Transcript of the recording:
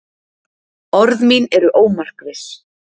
Orð mín eru ómarkviss.